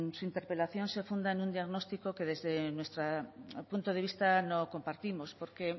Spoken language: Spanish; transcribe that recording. su interpelación se funda en un diagnóstico que desde nuestro punto de vista no compartimos porque